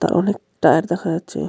তার অনেক টায়ার দেখা যাচ্ছে .